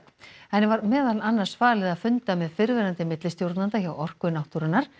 henni var meðal annars falið að funda með fyrrverandi millistjórnanda hjá Orku náttúrunnar